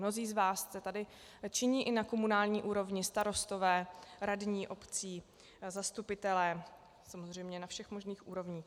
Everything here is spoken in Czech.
Mnozí z vás jste tady činní i na komunální úrovni - starostové, radní obcí, zastupitelé samozřejmě na všech možných úrovních.